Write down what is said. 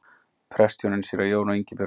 Prestshjónin séra Jón og Ingibjörg